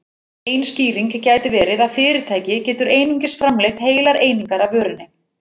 Ein skýring gæti verið að fyrirtæki getur einungis framleitt heilar einingar af vörunni.